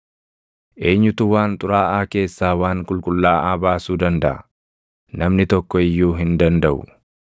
Eenyutu waan xuraaʼaa keessaa waan qulqullaaʼaa baasuu dandaʼa? Namni tokko iyyuu hin dandaʼu!